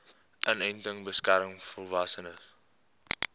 inenting beskerm volwassenes